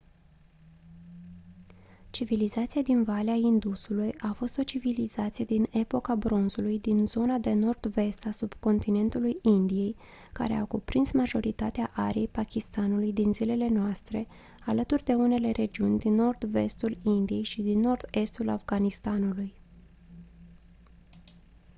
civilizația din valea indusului a fost o civilizație din epoca bronzului din zona de nord-vest a subcontinentului indiei care a cuprins majoritatea ariei pakistanului din zilele noastre alături de unele regiuni din nord-vestul indiei și din nord-estul afganistanului